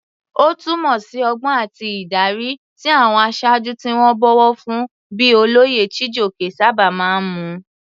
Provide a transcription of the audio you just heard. Ó túmọ̀ sí ọgbọ́n àti ìdarí, tí àwọn aṣáájú tí wọ́n bọ̀wọ̀ fún bíi olóyè Chijioke sábà máa ń mú.